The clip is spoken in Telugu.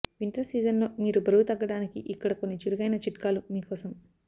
వింటర్ సీజన్లో మీరు బరువు తగ్గడానికి ఇక్కడ కొన్ని చురకైన చిట్కాలు మీకోసం